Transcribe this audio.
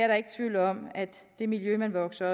der ikke tvivl om at det miljø man vokser